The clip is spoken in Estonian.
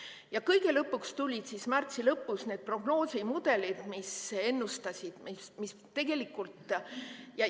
Ja kõige lõpuks tulid märtsi lõpus need prognoosimudelid, mis ennustasid.